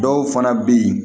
Dɔw fana bɛ yen